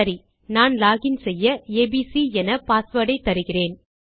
சரி நான் லோகின் செய்ய ஏபிசி என பாஸ்வேர்ட் ஐ தருகிறேன்